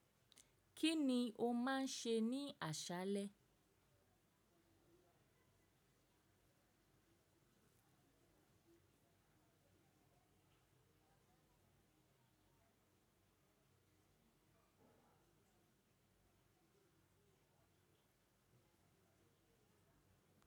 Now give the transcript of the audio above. Kí ni o máa ń ṣe ní àṣálẹ?